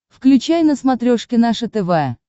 включай на смотрешке наше тв